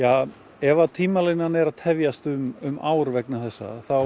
ef að tímalínan er að tefjast um ár vegna þessa þá